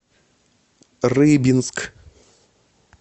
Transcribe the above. рыбинск